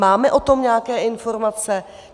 Máme o tom nějaké informace?